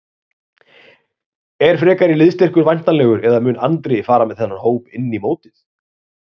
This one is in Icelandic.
Er frekari liðsstyrkur væntanlegur eða mun Andri fara með þennan hóp inn í mótið?